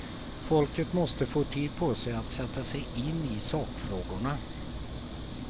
Folket måste få tid på sig att sätta sig in i sakfrågorna.